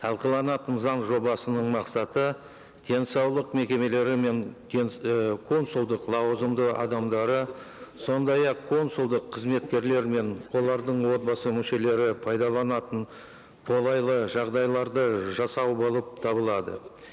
талқыланатын заң жобасының мақсаты денсаулық мекемелері мен і консулдық лауазымды адамдары сондай ақ консулдық қызметкерлер мен олардың отбасы мүшелері пайдаланатын қолайлы жағдайларды жасау болып табылады